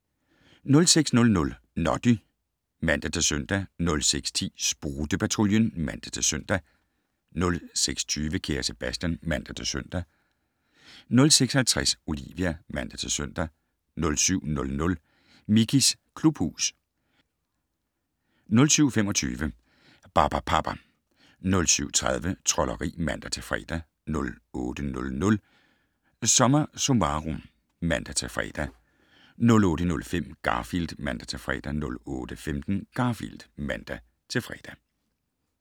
06:00: Noddy (man-søn) 06:10: Sprutte-Patruljen (man-søn) 06:20: Kære Sebastian (man-søn) 06:50: Olivia (man-søn) 07:00: Mickeys klubhus 07:25: Barbapapa 07:30: Trolderi (man-fre) 08:00: SommerSummarum (man-fre) 08:05: Garfield (man-fre) 08:15: Garfield (man-fre)